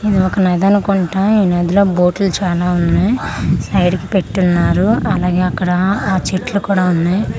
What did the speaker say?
ఇది ఒక నది అనుకుంటా ఈ నది లో బోట్లు చాలా ఉన్నాయి సైడ్ కి పెట్టి ఉన్నారు అలాగే అక్కడ ఆ చెట్లకు కూడా ఉన్నాయి వా--